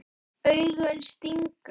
Augun stinga.